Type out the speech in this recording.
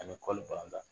Ani kɔli bananba